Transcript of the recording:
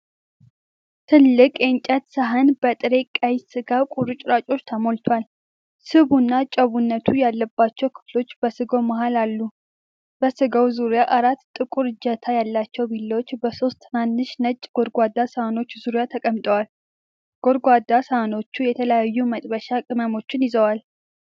ትልቅ የእንጨት ሳህን በጥሬ ቀይ ሥጋ ቁርጥራጮች ተሞልቷል። ስቡና ጨውነት ያለባቸው ክፍሎች በስጋው መሃል አሉ። በስጋው ዙሪያ አራት ጥቁር እጀታ ያላቸው ቢላዎች በሦስት ትናንሽ ነጭ ጎድጓዳ ሳህኖች ዙሪያ ተቀምጠዋል። ጎድጓዳ ሳህኖቹ የተለያዩ መጥበሻ ቅመሞችን ይዘዋል።